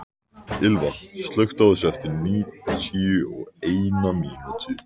Ylva, slökktu á þessu eftir níutíu og eina mínútur.